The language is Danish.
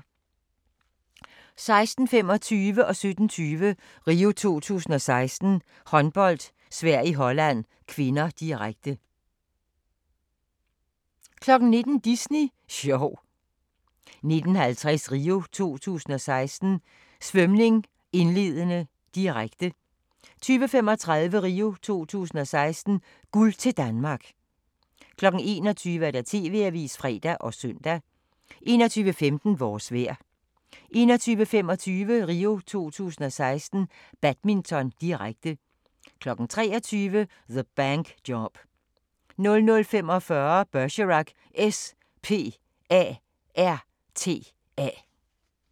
16:25: RIO 2016: Håndbold - Sverige-Holland (k), direkte 17:20: RIO 2016: Håndbold - Sverige-Holland (k), direkte 19:00: Disney sjov 19:50: RIO 2016: Svømning, indledende, direkte 20:35: RIO 2016: Guld til Danmark 21:00: TV-avisen (fre og søn) 21:15: Vores vejr 21:25: RIO 2016: Badminton, direkte 23:00: The Bank Job 00:45: Bergerac: S.P.A.R.T.A.